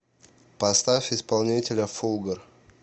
поставь исполнителя фулгор